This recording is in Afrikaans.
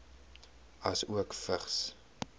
asook vigs